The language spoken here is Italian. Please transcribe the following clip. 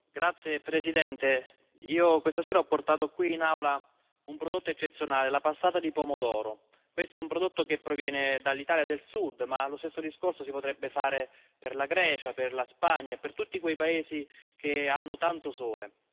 Signora Presidente, onorevoli colleghi, io questa sera ho portato qui in Aula un prodotto eccezionale la passata di pomodoro. Questo è un prodotto che proviene dall'Italia del Sud, ma lo stesso discorso si potrebbe fare per la Grecia, per la Spagna, per tutti quei paesi che hanno tanto sole.